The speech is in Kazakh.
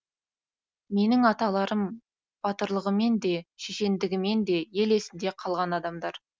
менің аталарым батырлығымен де шешендігімен де ел есінде қалған адамдар